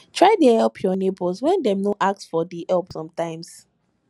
try help your neighbors when dem no ask for di help sometimes